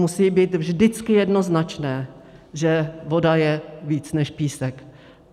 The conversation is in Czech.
Musí být vždycky jednoznačné, že voda je víc než písek.